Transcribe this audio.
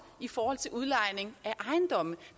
i forhold til udlejning af ejendomme